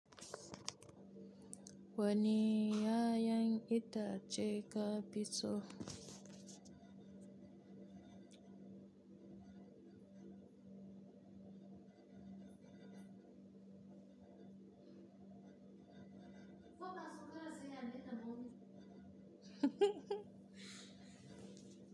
Wani ya yan ita ce ka fiso.